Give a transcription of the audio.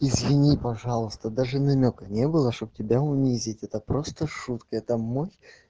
извини пожалуйста даже намёка не было чтобы тебя унизить это просто шутка это мой